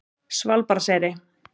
Svalbarðseyri